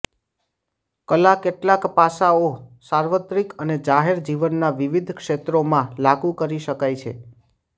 કલા કેટલાક પાસાઓ સાર્વત્રિક અને જાહેર જીવનના વિવિધ ક્ષેત્રોમાં લાગુ કરી શકાય છે